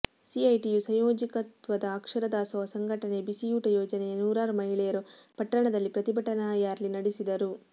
CITU ಸಂಯೋಜಕತ್ವದ ಅಕ್ಷರ ದಾಸೋಹ ಸಂಘಟನೆಯ ಬಿಸಿಯೂಟ ಯೋಜನೆಯ ನೂರಾರು ಮಹಿಳೆಯರು ಪಟ್ಟಣದಲ್ಲಿ ಪ್ರತಿಭಟನಾ ರ್ಯಾಲಿ ನಡೆಸಿದರು